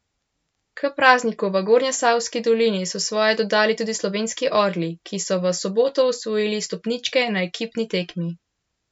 K prazniku v Gornjesavski dolini so svoje dodali tudi slovenski orli, ki so v soboto osvojili stopničke na ekipni tekmi.